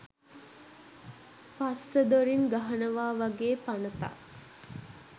පස්ස දොරින් ගහනවා වගේ පනතක්.